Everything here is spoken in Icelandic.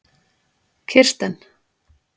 Kirsten